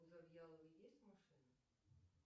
у завъяловой есть машина